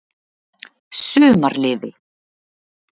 Sumarliði